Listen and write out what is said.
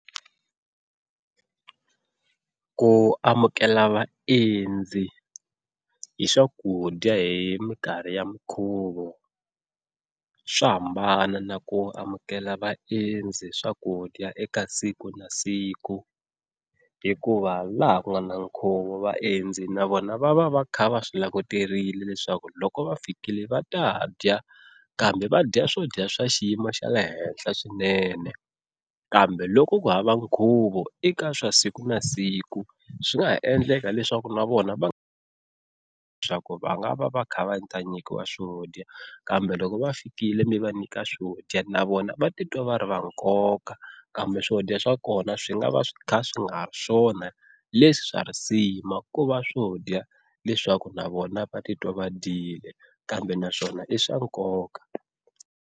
Ku amukela vaendzi hi swakudya hi minkarhi ya mikhuvo swa hambana na ku amukela vaendzi swakudya eka siku na siku, hikuva laha ku nga na nkhuvo vaendzi na vona va va va kha va swi languterile leswaku loko va fikile va ta dya kambe va dya swo dya swa xiyimo xa le henhla swinene kambe loko ku hava nkhuvo eka swa siku na siku swi nga ha endleka leswaku na vona va kha va ta nyikiwa swo dya kambe loko va fikile mi va nyika swo dya na vona va titwa va ri va nkoka kambe swo dya swa kona swi nga va swi kha swi nga ri swona leswi swa risima ku va swo dya leswaku na vona va titwa va dyile kambe naswona i swa nkoka.